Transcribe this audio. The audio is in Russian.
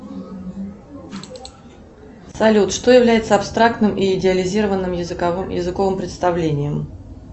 салют что является абстрактным и идеализированным языковым представлением